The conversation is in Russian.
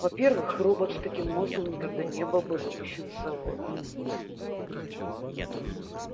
во-первых робот с таким мозгом никогда не был бы выпущен с завода